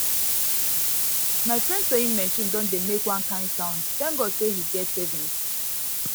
my friend sawing machine don dey make one kind sound thank god say he get savings